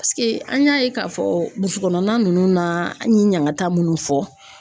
an y'a ye k'a fɔ burusi kɔnɔna ninnu na an ye ɲanŋata mun fɔ